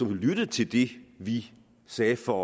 lyttet til det vi sagde for